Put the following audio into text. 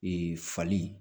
Ee fali